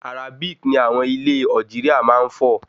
Arabic ní àwọn ilé Algeria máa ń fọ̀